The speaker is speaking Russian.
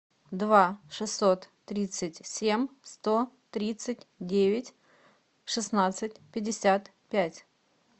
два шестьсот тридцать семь сто тридцать девять шестнадцать пятьдесят пять